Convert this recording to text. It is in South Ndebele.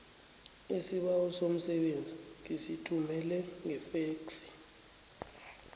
isibawo somsebenzi ngisithumele ngefexi